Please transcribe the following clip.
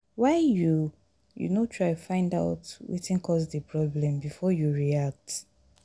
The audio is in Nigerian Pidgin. why you you no try find out wetin cause di problem before you react?